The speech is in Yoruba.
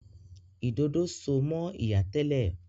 Ìdodo so mọ ìyá tẹ́lẹ̀.